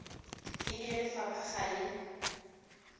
e bile lefapha ga le